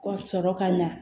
Ka sɔrɔ ka ɲa